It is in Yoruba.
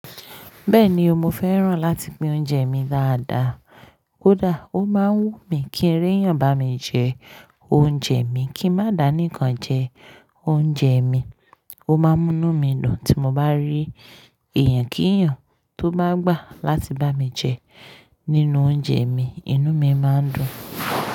Bẹ́ẹ̀ni, mo fẹ́ràn láti pín oúnjẹ mi dáadáa. Ó da, ó máa ń wù mí kí rí yàn bá mi jẹ oúnjẹ mi, kí n má dà nìkan jẹ oúnjẹ mi. Ó máa ń múnú mí dùn tí mo bá rí ẹ̀yàn kí yàn tó bá gbà láti bá mi jẹ nínú oúnjẹ mi, inú mi máa ń dùn.